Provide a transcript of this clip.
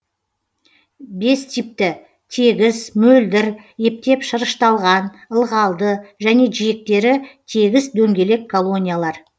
бес типті тегіс мөлдір ептеп шырышталған ылғалды және жиектері тегіс дөңгелек колониялар